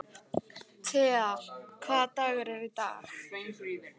Tea, hvaða dagur er í dag?